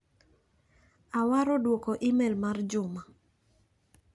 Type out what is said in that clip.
Awaro duoko imel mar Juma.